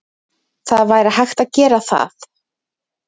Það væri hægt að gera það.